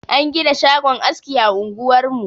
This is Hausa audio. An gina shagon aski a unguwar mu.